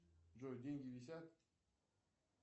джой деньги висят